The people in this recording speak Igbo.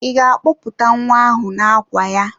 Ị ga-akpọpụta nwa ahụ n'àkwà ya?